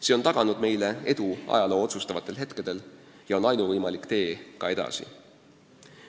See on taganud meile edu ajaloo otsustavatel hetkedel ja on ainuvõimalik tee ka edaspidi.